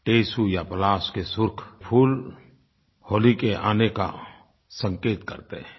टेसू या पलाश के सुर्ख फूल होली के आने का संकेत करते हैं